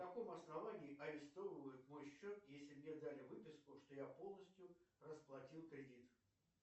на каком основании арестовывают мой счет если мне дали выписку что я полностью расплатил кредит